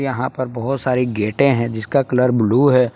यहां पर बहुत सारे गेटे हैं जिसका कलर ब्लू है।